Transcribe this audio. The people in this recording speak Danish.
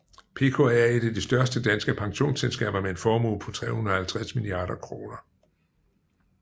PKA er et af de største danske pensionsselskaber med en formue på 350 milliarder kroner